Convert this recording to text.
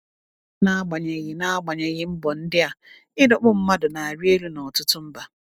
N’agbanyeghị N’agbanyeghị mbọ ndị a, ịdọkpụ mmadụ na-arị elu n’ọtụtụ mba.